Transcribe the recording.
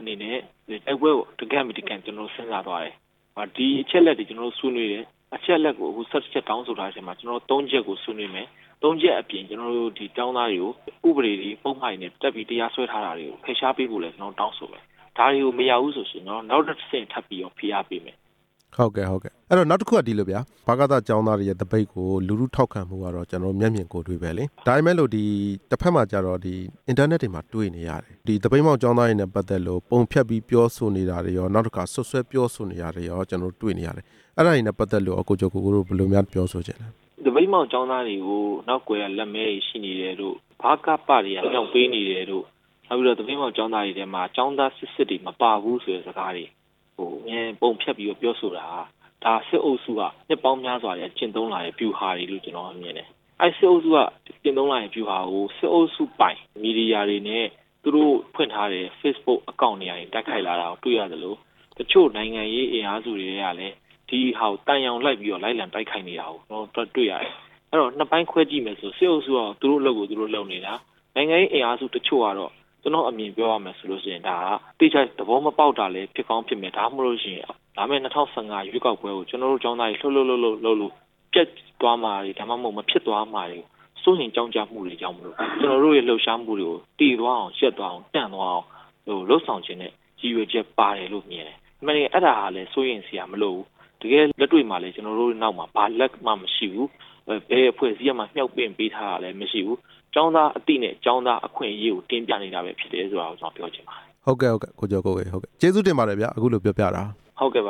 အနေနဲ့ တိုက်ပွဲကို တကန့်ပြီးတကန့် စဉ်းစားသွားတယ်၊ ဒီအချက်အလက်တွေ ကျနော်တို့ ဆွေးနွေးတယ်၊ အချက်အလက်ကို ၁၁ ချက်တောင်းဆိုထားတဲ့နေရာမှာ ၃ ချက်ကိုဆွေးနွေးမယ်၊ ၃ ချက်အပြင် ကျနော်တို့ ကျောင်းသားတွေကို ဥပဒေတွေ ပုဒ်မတွေနဲ့တပ်ပြီး တရားစွဲထားတာတွေကို ဖယ်ရှားပေးဖို့ကိုလည်း ကျနော်တို့ တောင်းဆိုတယ်၊ ဒါတွေကိုမရဘူးဆိုလို့ ရှိရင်တော့ နောက်ထပ်တဆင့် ထပ်ပြီးဖိအားပေးမယ်။ ဟုတ်ကဲ့ နောက်တစ်ခုက ဗကသ ကျောင်းသားတွေရဲ့သပိတ်ကို လူထုထောက်ခံပေးမှု ကတော့ ကျနော်တို့ မျက်မြင်ကိုယ်တွေ့ပဲလေ၊ ဒါပေမယ်လို့ တဘက်မှာကျတော့ အင်တာနက်တွေမှာ တွေ့နေရတယ်၊ ဒီသပိတ်မှောက် ကျောင်းသားတွေနဲ့ပတ်သက်လို့ ပုံဖျက်ပြီး ပြောဆိုနေတာတွေရော၊ စွပ်စွဲပြောဆိုနေတာတွေရော ကျနော်တို့တွေ့နေရတယ်၊ အဲ့ဒါတွေနဲ့ပတ်သက်လို့ ကိကျော်ကိုကိုတို့ ဘယ်လိုများ ပြောဆိုချင်လဲ။ သပိတ်မှောက်ကျောင်းသားတွေကို နောက်ကွယ်ကလက်မဲတွေ ရှိနေတယ်လို့ ဗကသတွေ က မြှောက်ပေးနေတယ်လို့ နောက်ပြီးတော့ သပိတ်မှောက်ကျောင်းသားတွေထဲမှာ ကျောင်းသားစစ်စစ်တွေ မပါဘူး ဆိုတဲ့စကားတွေ ပုံဖျက်ပြီးပြောဆိုတာဟာ ဒါစစ်အုပ်စုက နှစ်ပေါင်းများစွာကတည်းက ကျင့်သုံးလာတဲ့ဗျူဟာတွေလို့ ကျနော်ကမြင်ပါတယ်၊ အဲ့စစ်အုပ်စုက ကျင့်သုံးလိုက်ရင်ဗျူဟာကို စစ်အုပ်စုပိုင်မီဒီယာတွေနဲ့ သူတို့ဖွင့်ထားတဲ့ ဖေ့စ်ဘွတ် အကောင့်တွေကနေ တိုက်ခိုက်လာတာကိုတွေ့ရသလို တချို့နိုင်ငံရေး အင်အားစုတွေကလည်း ဒီဟာကိုသံယောင်လိုက် ပြီးတော့ လိုက်လံတိုက်ခိုက်နေတာကို ကျနော်တို့သွားတွေ့ရတယ်၊ အဲ့ဒီတော့ နှစ်ပိုင်းခွဲကြည့်မယ်ဆိုရင် စစ်အုပ်စု ကတော့ သူတို့အလုပ်ကို သူတို့လုပ်နေတာ၊ နိုင်ငံရေးအင်အားစုတချို့ကတော့ ကျနော်အမြင်ပြောရမယ်ဆိုလို့ရှိရင် ဒါဟာသေချာသဘောမပေါက်တာလည်း ဖြစ်ကောင်းဖြစ်မယ်၊ ဒါမှမဟုတ်ရင် လာမယ့် ၂ဝ၁၅ ရွေးကောက်ပွဲကို ကျနော် တို့ကျောင်းသားတွေ လှုပ်လှုပ်လှုပ်လို့ ပျက်သွားမှာတွေ၊ ဒါမှမဟုတ် မဖြစ်သွားမှာတွေကို စိုးရိမ်ကြောင့်ကြမှုတွေကြောင့် ကျနော်တို့တို့ရဲ့ လှုပ်ရှားမှုတွေကို သေသွားအောင်၊ ရပ်သွားအောင်၊ တန့်သွားအောင်လုပ်ဆောင်ချင်တဲ့ ရည်ရွယ်ချက်ပါ တယ်လို့ ကျနော်မြင်တယ်၊ အမှန်တကယ် အဲ့ဒါဟာလည်း စိုးရိမ်စရာမလိုဘူး၊ တကယ့်လက်တွေ့မှာလည်း ကျနော်တို့နောက်မှာ ဘယ်အဖွဲ့အစည်းကမှ မြှောက်ပင့်ပေးထားတာမရှိဘူး၊ ကျောင်းသားအသိနဲ့ ကျောင်းသား အခွင့်အရေးကို တင်ပြနေတာပဲဖြစ်တယ်ဆိုတာကို ကျနော်ပြောချင်ပါတယ်။ ဟုတ်ကဲ့ ကိုကျော်ကိုကိုရေ ကျေးဇူးတင်ပါတယ်ဗျ၊ အခုလိုပြောပြတာ။ ဟုတ်ကဲ့ပါ